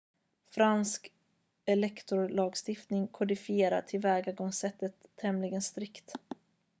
fransk elektorlagstiftning kodifierar tillvägagångssättet tämligen strikt